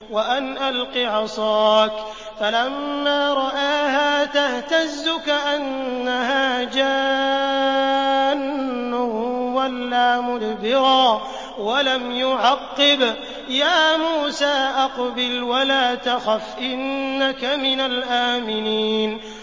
وَأَنْ أَلْقِ عَصَاكَ ۖ فَلَمَّا رَآهَا تَهْتَزُّ كَأَنَّهَا جَانٌّ وَلَّىٰ مُدْبِرًا وَلَمْ يُعَقِّبْ ۚ يَا مُوسَىٰ أَقْبِلْ وَلَا تَخَفْ ۖ إِنَّكَ مِنَ الْآمِنِينَ